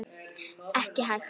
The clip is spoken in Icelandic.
Ekki hægt.